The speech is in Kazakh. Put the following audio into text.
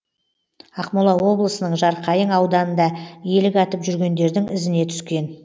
ақмола облысының жарқайың ауданында елік атып жүргендердің ізіне түскен